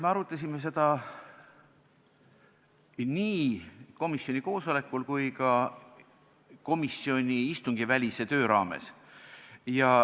Me arutasime seda nii komisjoni koosolekul kui ka komisjoni istungivälise töö raames.